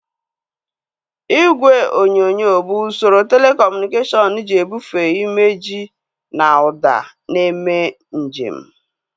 Igwe onyonyo bụ usoro telekọmunikashọnu ji ebufee imejị na ụda na-eme nje m